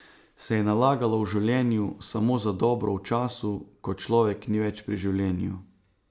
Se je nalagalo v življenju samo za dobro v času, ko človek ni več pri življenju?